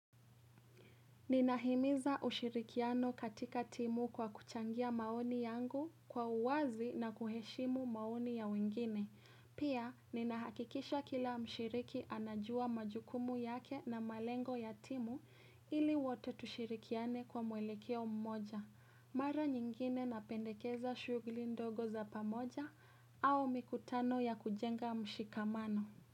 Ninahimiza ushirikiano katika timu kwa kuchangia maoni yangu kwa uwazi na kuheshimu maoni ya wengine. Pia, ninahakikisha kila mshiriki anajua majukumu yake na malengo ya timu ili wote tushirikiane kwa mwelekeo mmoja. Mara nyingine napendekeza shughuli ndogo za pamoja au mikutano ya kujenga mshikamano.